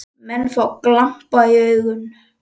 Menn fá glampa í augun.